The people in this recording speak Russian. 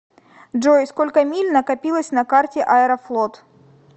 джой сколько миль накопилось на карте аэрофлот